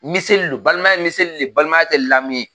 Miseli don, balimaya ye miseli ye, balimaya tɛ lamu ye.